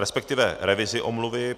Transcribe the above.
Respektive revizi omluvy.